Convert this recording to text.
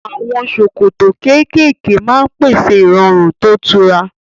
Àwọn ṣòkòtò kéékèèké máa ń pèsè ìrọ̀rùn tó tura